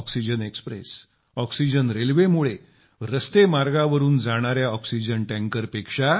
oxygen express oxygen रेल्वेमुळे रस्ते मार्गावरून जाणाया ऑक्सिजन टँकरपेक्षा